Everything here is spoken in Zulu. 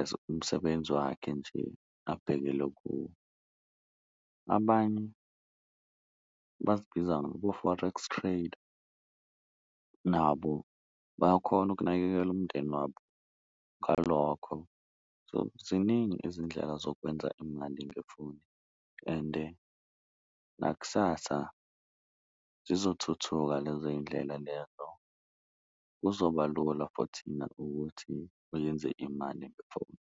as umsebenzi wakhe nje abhekele kuwo. Abanye bazibiza ngabo-Forex trader nabo bayakhona ukunakekela umndeni wabo ngalokho so, ziningi izindlela zokwenza imali ngefoni ende nakusasa zizothuthuka lezo yindlela lezo. Kuzoba lula for thina ukuthi uyenze imali ngefoni.